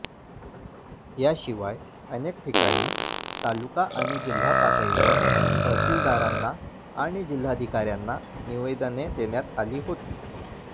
याशिवाय अनेक ठिकाणी तालुका आणि जिल्हा पातळीवर तहसिलदारांना आणि जिल्हाधिकार्यांना निवेदने देण्यात आली होती